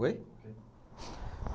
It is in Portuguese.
Oi?